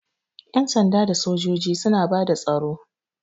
Ƴan sanda da sojoji suna bada tsaro.